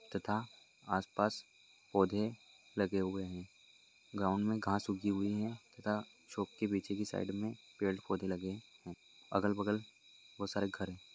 तथा आसपास पौधे लगे हुई है ग्राउंड मे घास उगी हुई है तथा चौक के पीछे के साइड मे पड़े-पौधे लगे है अगल-बगल को सारे घर है।